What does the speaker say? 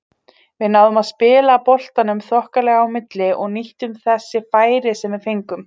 Við náðum að spila boltanum þokkalega á milli og nýttum þessi færi sem við fengum.